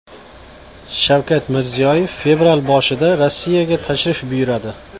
Shavkat Mirziyoyev fevral boshida Rossiyaga tashrif buyuradi.